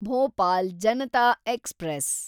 Bhopal Janata express